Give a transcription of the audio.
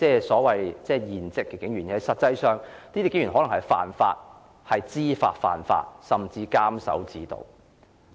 事實上，警員可能知法犯法，甚至監守自盜。